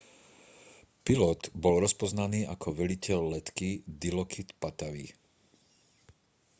pilot bol rozpoznaný ako veliteľ letky dilokrit pattavee